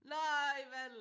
Nej Vandel!